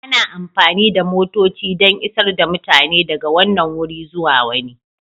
Ana amfani da motoci don isar da mutane daga wannan wuri zuwa wani.